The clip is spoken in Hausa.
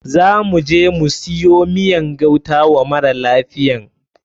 Za muje mu siyo miyan gauta wa mara lafiyan.